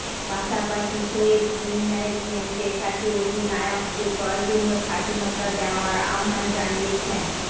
পাশাপাশি শোয়েব টিম ম্যানেজমেন্টের কাছে অধিনায়ককে প্রয়োজনীয় স্বাধীনতা দেওয়ার আহ্বান জানিয়েছেন